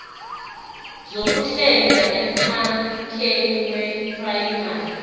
zokuhlenga emkhakheni weprayimari